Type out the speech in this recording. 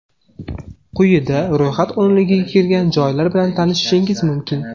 Quyida ro‘yxat o‘nligiga kirgan joylar bilan tanishishingiz mumkin.